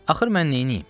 Axı mən neyniyim?